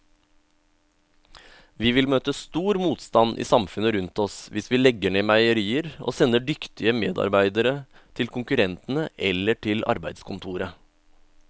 Vi vil møte stor motstand i samfunnet rundt oss hvis vi legger ned meierier og sender dyktige medarbeidere til konkurrentene eller til arbeidskontoret.